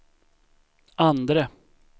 andre